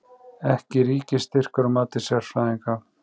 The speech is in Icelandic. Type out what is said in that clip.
Ekki ríkisstyrkur að mati sérfræðinga